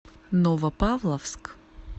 новопавловск